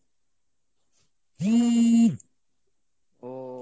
তো